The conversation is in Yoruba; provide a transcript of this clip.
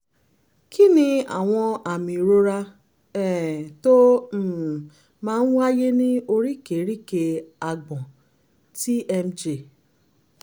kí ni àwọn àmì ìrora um tó um máa ń wáyé ní oríkèéríkèé àgbọ̀n tmj